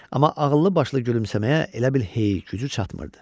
Amma ağıllı başlı gülümsəməyə elə bil heyi, gücü çatmırdı.